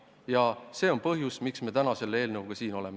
Ja see on põhjus, miks me täna selle eelnõuga siin oleme.